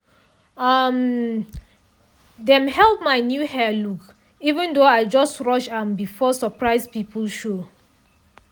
um dem hail my new hair look even though i just rush am before surprise people show.